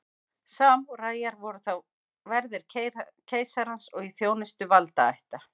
Samúræjar voru þá verðir keisarans og í þjónustu valdaætta.